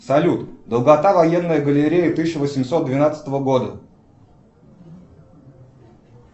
салют долгота военной галереи тысяча восемьсот двенадцатого года